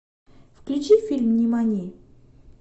включи фильм нимани